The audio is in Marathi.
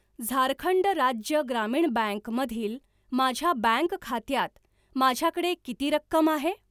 झारखंड राज्य ग्रामीण बँक मधील माझ्या बँक खात्यात माझ्याकडे किती रक्कम आहे?